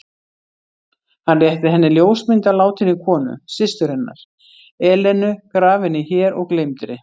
Hann rétti henni ljósmynd af látinni konu: systur hennar, Elenu, grafinni hér og gleymdri.